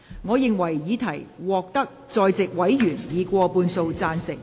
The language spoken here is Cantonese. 我認為議題獲得在席委員以過半數贊成。